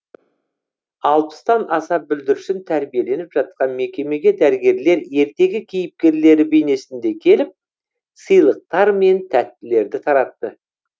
алпыстан аса бүлдіршін тәрбиеленіп жатқан мекемеге дәрігерлер ертегі кейіпкерлері бейнесінде келіп сыйлықтар мен тәттілерді таратты